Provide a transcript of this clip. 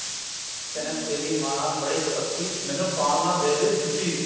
ਕਹਿੰਦਾ ਮਾਂ ਬੜੀ ਕਪੱਤੀ ਮੈਨੂੰ ਪਾਉਣ ਨਾ ਦੇਵੇ ਜੁੱਤੀ